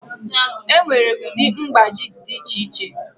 Enwere ụdị mgbaji dị iche iche.